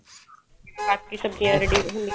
ਬਾਕੀ ਸਬਜੀਆਂ ਜਿਵੇਂ ready ਹੁੰਦੀਆਂ